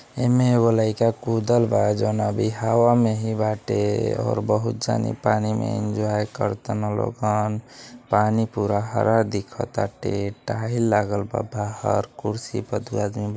एम्मे एगो लईका कुदल बा जोन अभी हवा में ही बाटे और बहुत जानि पानी में एन्जॉय करताना लोगअन पानी पूरा हरा दिखताटे टाइल लागल बा बहार कुर्सी पर दू आदमी --